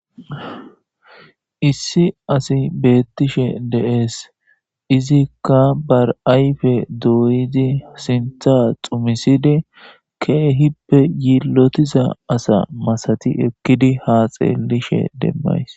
Issi asi beettishe deees izikka bar7ayfe dooyidi sintha xumisidi keehippe yiillotiza asa masati ekkidi haa xeelishe demmays.